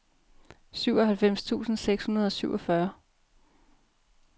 syvoghalvfems tusind seks hundrede og syvogfyrre